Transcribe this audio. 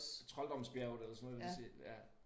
Trolddomsbjerget eller sådan noget i den stil ja